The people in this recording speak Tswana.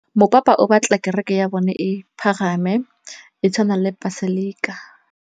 Mopapa o batla kereke ya bone e pagame, e tshwane le paselika.